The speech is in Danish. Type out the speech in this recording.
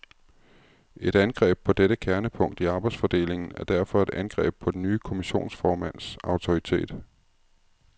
Et angreb på dette kernepunkt i arbejdsfordelingen er derfor et angreb på den nye kommissionsformands autoritet.